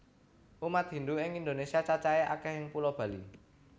Umat Hindu ing Indonesia cacahe akeh ing pulo Bali